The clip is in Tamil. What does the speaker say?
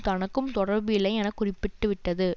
தனக்கும் தொடர்பு இல்லை என குறிப்பிட்டுவிட்டது